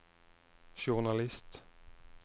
journalist